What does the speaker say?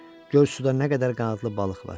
Gör suda nə qədər qanadlı balıq var.